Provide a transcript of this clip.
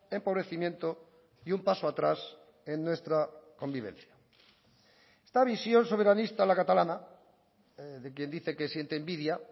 empobrecimiento y un paso atrás en nuestra convivencia esta visión soberanista a la catalana de quien dice que siente envidia